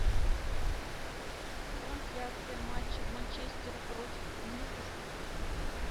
трансляция матча манчестера против ньюкасла